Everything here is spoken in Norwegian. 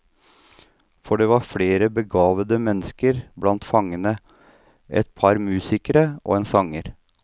For det var flere begavede mennesker blant fangene, et par musikere og en sanger.